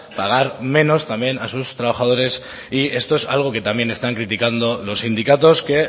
pagar menos también a sus trabajadores y esto es algo que también están criticando los sindicatos que